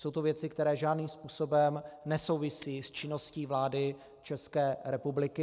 Jsou to věci, které žádným způsobem nesouvisí s činností vlády České republiky.